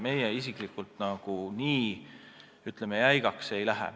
Me siiski nii jäigaks ei lähe.